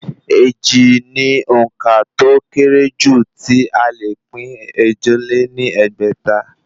Èjì ni òǹkà tó ó kéré jù tí ó le pín ẹ̀jọ lé ní ẹgbẹ́ta